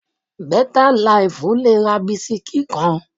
Bẹ́tà laìfù le ra bisikí kan